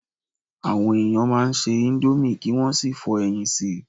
Àwọn ènìyàn a máa se íńdómì kí wọ́n sì fọ́ ẹyin sí í.